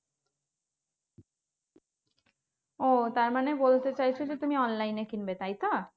ওহ তারমানে বলতে চাইছো যে তুমি online এ কিনবে, তাইতো?